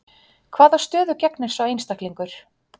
Hvaða stöðu gegnir sá einstaklingur?